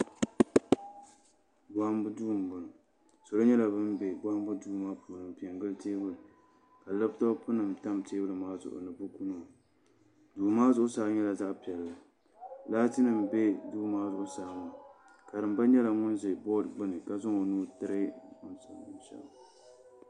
Bohambu duu n boŋo salo nyɛla bin bɛ bohambu duu maa puuni n pɛ n gili teebuli ka labtop nim tam teebuli maa zuɣu ni buku nima duu maa zuɣusaa nyɛla zaɣ piɛli laati nim bɛ duu maa zuɣusaa karimba nyɛla ŋun ʒɛ bood gbuni ka zaŋ o nuu tiri